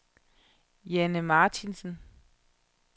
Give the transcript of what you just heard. Janne Martinsen